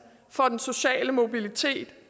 for den sociale mobilitet